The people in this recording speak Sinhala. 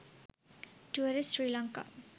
tourist srilanka